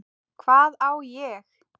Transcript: Hvað á ég?